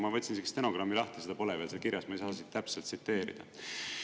Ma võtsin isegi stenogrammi lahti, seda pole veel seal kirjas, ma ei saa täpselt tsiteerida.